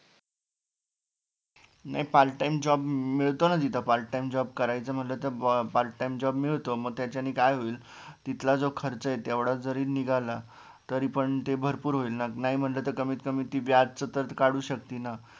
नाय part time job मिळतो ना तिथं part time job करायचं म्हणलं तर part time job मिळतो मग त्याच्या नी काय होईल तिथला जो खर्च ये तेवढा जरी निघाला तरी पण ते भरपूर होईल ना नाय म्हणलं तर कमीत कमी ती व्याजचं तरी काडू शकती ना